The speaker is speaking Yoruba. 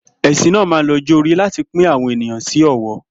È̩sìn náà máa ń lo e̩gbé̩ o̩jó̩-orí láti pín àwo̩n èèyàn sí ò̩wó̩